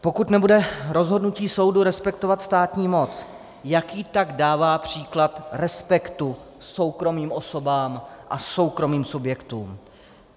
Pokud nebude rozhodnutí soudu respektovat státní moc, jaký tak dává příklad respektu soukromým osobám a soukromým subjektům?